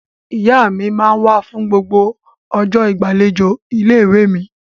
Ìyá mi máa ń wá fún gbogbo ọjọ́ ìgbàlejò ilé-ìwé mi.